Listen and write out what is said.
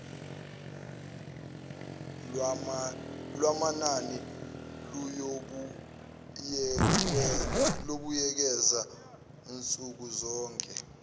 lwamanani luyobuyekezwa nsukuzonke